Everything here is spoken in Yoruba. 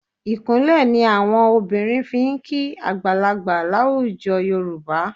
Ìkúnlẹ̀ ni àwọn obìnrin fi ń kí àgbàlagbà láwùjọ Yorùbá.